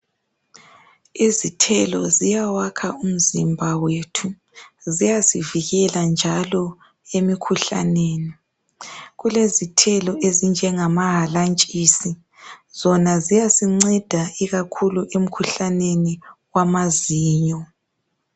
Izithelo ziyawakha umzimba wethu ziyasivikela njalo emikhuhlaneni kulezithelo ezinjengamahalantshisi zona ziyasinceda ikakhulu emikhuhlaneni wamazinyo.